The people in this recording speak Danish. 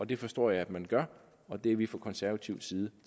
det forstår jeg at man gør og det er vi fra konservativ side